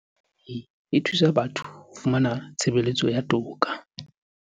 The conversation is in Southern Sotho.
CGE e thusa batho ho fumana tshebeletso ya toka